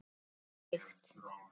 Hvað er lykt?